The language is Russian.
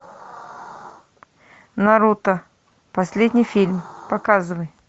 наруто последний фильм показывай